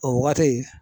O waati